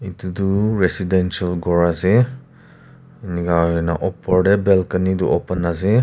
edu tu residential ghor ase enika hoina opor tae balcony tu open ase.